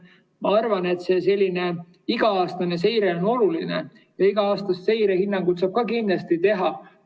Ma arvan, et selline iga-aastane seire on oluline ja iga-aastast seirehinnangut saab ka kindlasti teha.